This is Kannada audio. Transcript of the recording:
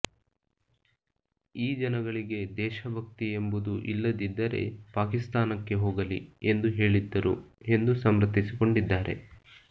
ಈ ಜನಗಳಿಗೆ ದೇಶಭಕ್ತಿ ಎಂಬುದು ಇಲ್ಲದಿದ್ದರೇ ಪಾಕಿಸ್ತಾನಕ್ಕೆ ಹೋಗಲಿ ಎಂದು ಹೇಳಿದ್ದರು ಎಂದು ಸಮರ್ಥಿಸಿಕೊಂಡಿದ್ದಾರೆ